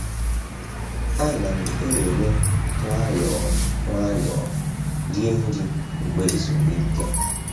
Ana m ewere nwayọọ nwayọọ rie nri mgbe ezumike.